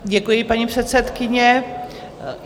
Děkuji, paní předsedkyně.